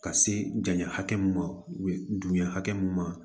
Ka se janya hakɛ min ma dugun hakɛ mun ma